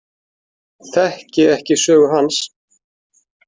Þekki ekki sögu hans.